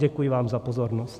Děkuji vám za pozornost.